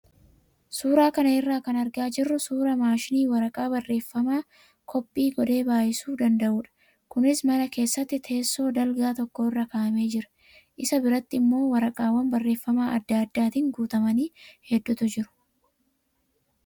Suuraa kana irraa kan argaa jirru suuraa maashinii waraqaa barreeffama koppii godhee baay'isuu danda'udha. Kunis mana keessatti teessoo dalgaa tokkorra kaa'amee jira. Isa biratti immoo waraqaawwan barreeffama adda addaatiin guutaman hedduutu jiru.